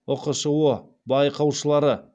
ұқшұ байқаушылары